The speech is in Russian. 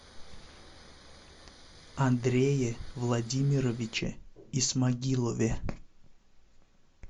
андрее владимировиче исмагилове